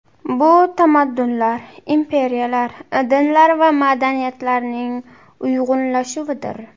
Bu tamaddunlar, imperiyalar, dinlar va madaniyatlarning uyg‘unlashuvidir.